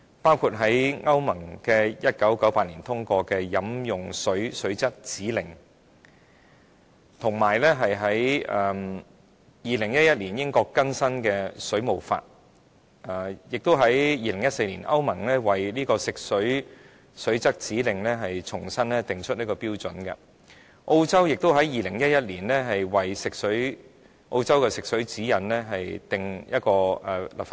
例如，歐盟在1998年通過《飲用水水質指令》；英國在2011年更新《水務法》；歐盟在2014年為《飲用水水質指令》重新訂定標準；澳洲在2011年為澳洲的食水指引立法。